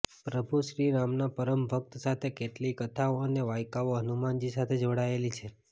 પ્રભુ શ્રી રામના પરમ ભક્ત સાથે કેટલીયે કથાઓ અને વાયકાઓ હનુમાનજી સાથે જોડાયેલી છે